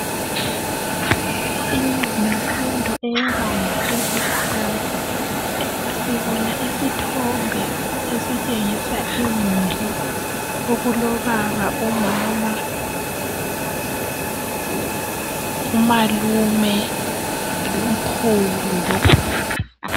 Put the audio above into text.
Imfundo eyebanga eliphansi, sibona isithombe esitshengisa imuli okulobaba, umama ,umalume ukhulu logogo.